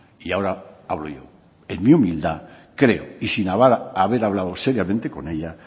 y ahora hablo yo en mi humildad creo y sin haber hablado seriamente con ella